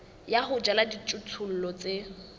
ya ho jala dijothollo tse